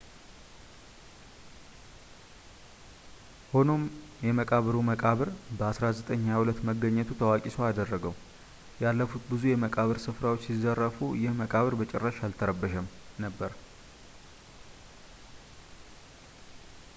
ሆኖም የመቃብሩ መቃብር በ 1922 መገኘቱ ታዋቂ ሰው አደረገው ያለፉት ብዙ የመቃብር ስፍራዎች ሲዘርፉ ይህ መቃብር በጭራሽ አልተረበሸም ነበር